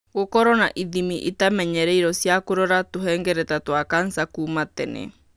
Gũkorũo na ithimi itamenyeretio cia kũrora tũhengereta twa kanca kuuma tene.